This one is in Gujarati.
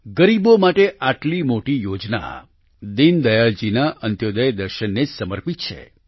ગરીબો માટે આટલી મોટી યોજના દીનદયાળ જીના અંત્યોદય દર્શનને જ સમર્પિત છે